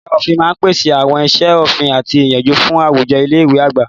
Ẹ̀ka òfin máa ń pèsè àwọn iṣẹ́ òfin àti ìyànjú fún àwùjọ ilé ìwé àgbà.